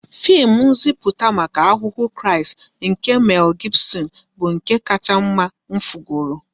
Fim nziputa maka Ahụhụ Kraịst nke Mel Gibson bụ nke kacha mma m fugoro